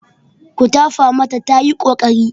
Ku tafa mata tayi ƙoƙari.